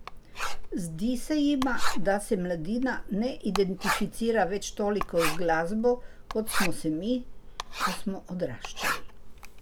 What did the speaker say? Zdi se jima, da se mladina ne identificira več toliko z glasbo, kot smo se mi, ko smo odraščali.